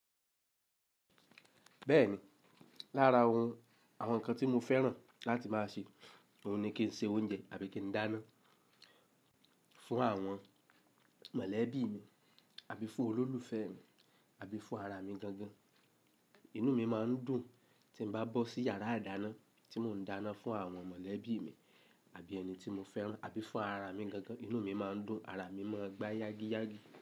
Bẹ́ẹ̀ni, lára oun àwọn nǹkan tí mo fẹ́ràn láti máa ṣe, òun ni kí n se oúnjẹ àbí kí n dáná fún àwọn mọ̀lẹ́bí mi àbí fún olólùfẹ́ mi àbí fún ara mi gangan. Inú mi máa ń dùn tí bá bọ́ sí yàrá ìdáná tí mò ń dáná fún àwọn mọ̀lẹ́bí mi àbí ẹni tí mo fẹ́ràn àbí fún ara mi gangan. Inú mi máa ń dùn, ara mi máa ń gba yági yági.